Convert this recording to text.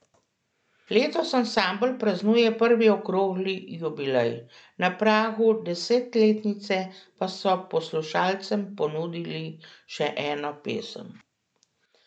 Letos ansambel praznuje prvi okrogli jubilej, na pragu desetletnice pa so poslušalcem ponudili še eno pesem.